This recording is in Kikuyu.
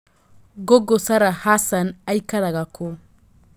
google Sarah Hassan aikaraga kũ